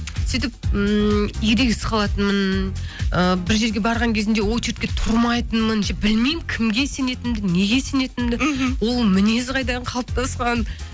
сөйтіп ммм ерегесіп қалатынмын ы бір жерге барған кезімде очередке тұрмайтынмын ше білмеймін кімге сенетінімді неге сенетінімді мхм ол мінез қайдан қалыптасқан